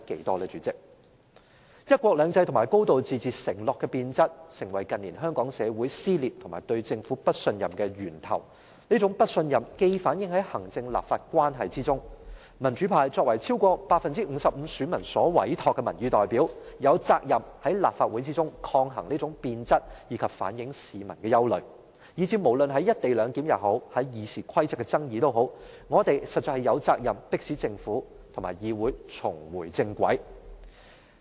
代理主席，"一國兩制"和"高度自治"承諾的變質成為近年香港社會撕裂和對政府不信任的源頭，這種不信任既反映在行政立法關係中，民主派作為超過 55% 選民所委託的民意代表，有責任在立法會內抗衡這種變質，以及反映市民的憂慮，以至無論是"一地兩檢"和《議事規則》的爭議，我們實在有責任迫使政府和議會重回正軌。